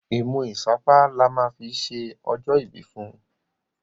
imú isapa là má fí ṣe ojo ibi fún.